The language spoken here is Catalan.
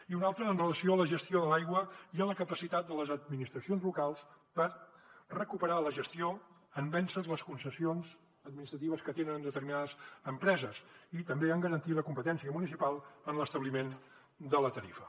i una altra amb relació a la gestió de l’aigua i a la capacitat de les administracions locals per recuperar la gestió en vèncer les concessions administratives que tenen determinades empreses i també en garantir la competència municipal en l’establiment de la tarifa